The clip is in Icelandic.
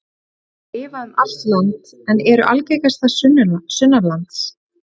Þær lifa um allt land en eru algengastar sunnanlands.